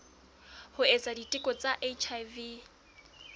ho etsa diteko tsa hiv